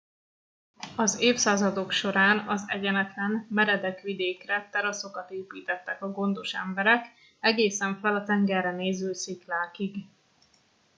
az évszázadok során az egyenetlen meredek vidékre teraszokat építettek a gondos emberek egészen fel a tengerre néző sziklákig